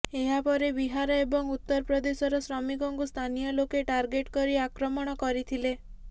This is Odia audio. ଏହା ପରେ ବିହାର ଏବଂ ଉତ୍ତର ପ୍ରଦେଶର ଶ୍ରମିକଙ୍କୁ ସ୍ଥାନୀୟ ଲୋକେ ଟାର୍ଗେଟ୍ କରି ଆକ୍ରମଣ କରିଥିଲେ